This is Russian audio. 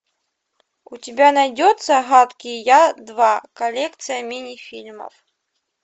у тебя найдется гадкий я два коллекция мини фильмов